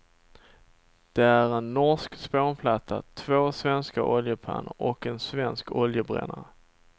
Det är en norsk spånplatta, två svenska oljepannor och en svensk oljebrännare.